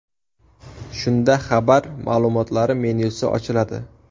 Shunda xabar ma’lumotlari menyusi ochiladi.